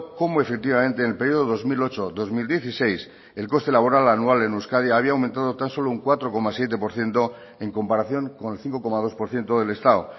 cómo efectivamente en el periodo dos mil ocho dos mil dieciséis el coste laboral anual en euskadi había aumentado tan solo un cuatro coma siete por ciento en comparación con el cinco coma dos por ciento del estado